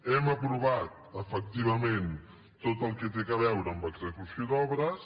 hem aprovat efectivament tot el que té a veure amb execució d’obres